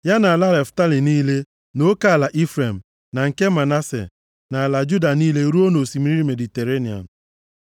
ya na ala Naftalị niile nʼoke ala Ifrem, na nke Manase, na ala Juda niile ruo nʼosimiri Mediterenịa. + 34:2 Osimiri Mediterenịa dị nʼọdịda anyanwụ